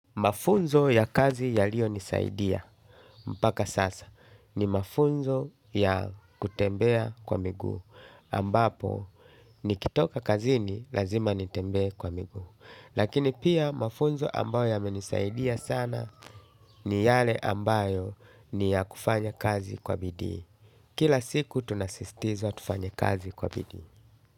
Mafunzo ya kazi ya liyo nisaidia mpaka sasa ni mafunzo ya kutembea kwa miguu ambapo nikitoka kazini lazima nitembee kwa miguu. Lakini pia mafunzo ambayo ya menisaidia sana ni yale ambayo ni ya kufanya kazi kwa bidii. Kila siku tunasisitiza tufanye kazi kwa bidii.